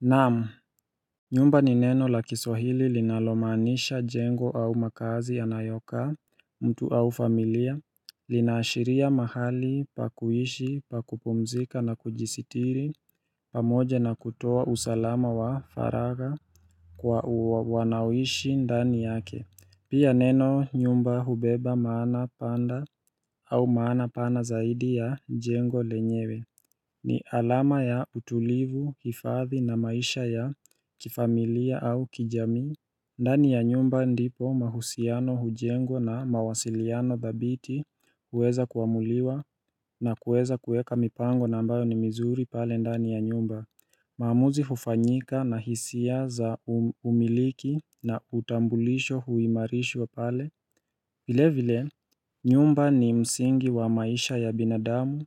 Naam, nyumba ni neno la kiswahili linalomaanisha jengo au makazi ya nayokaa, mtu au familia, linaashiria mahali pakuhishi pakupumzika na kujisitiri, pamoja na kutoa usalama wa faraga kwa wanaoishi ndani yake. Pia neno nyumba hubeba maana panda au maana pana zaidi ya jengo lenyewe ni alama ya utulivu, hifadhi na maisha ya kifamilia au kijamii. Ndani ya nyumba ndipo mahusiano hujengwa na mawasiliano thabiti uweza kuamuliwa na kuweza kueka mipango na ambayo ni mizuri pale ndani ya nyumba. Maamuzi hufanyika na hisia za umiliki na utambulisho huimarishwa pale vile vile, nyumba ni msingi wa maisha ya binadamu